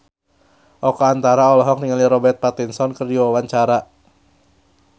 Oka Antara olohok ningali Robert Pattinson keur diwawancara